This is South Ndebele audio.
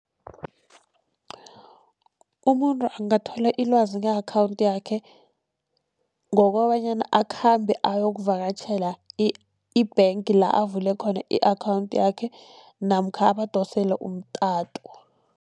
Umuntu angathola ilwazi nge-account yakhe ngokobanyana akhambe ayokuvakatjhela i-bank la avule khona i-account yakhe namkha abadosele umtato.